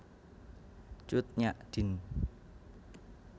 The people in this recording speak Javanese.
Cut Nyak Dien